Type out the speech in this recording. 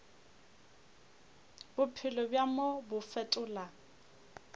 bophelo bja mo bo fetola